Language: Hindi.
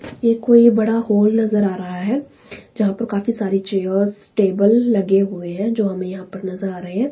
ये कोई बड़ा हॉल नजर आ रहा है जहां पर काफी सारी चेयर्स टेबल लगे हुए हैं जो हमें यहां पर नजर आ रहे हैं।